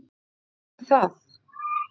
Og ekki er nóg með það.